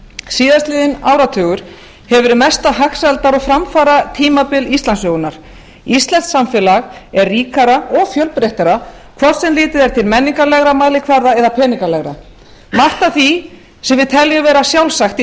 síðast liðinn áratugur hefur verið mesta hagsældar og framfaratímabil íslandssögunnar íslenskt samfélag er ríkara og fjölbreyttara hvort sem litið er til menningarlegra mælikvarða eða peningalegra margt af því sem við teljum vera sjálfsagt í